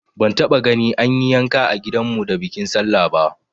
Ban taba gani an yi yanka a gidan mu da bikin sallah ba